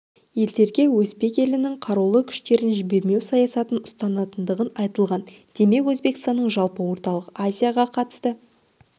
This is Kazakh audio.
елдерге өзбек елінің қарулы күштерін жібермеу саясатын ұстанатындығы айтылған демек өзбекстанның жалпы орталық азияға қатысты